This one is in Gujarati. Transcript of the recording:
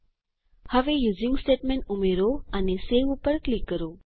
હવે યુઝિંગ સ્ટેટમેન્ટ ઉમેરો અને સવે ઉપર ક્લિક કરો